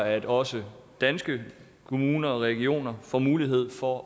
at også danske kommuner og regioner får mulighed for